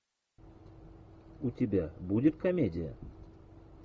у тебя будет комедия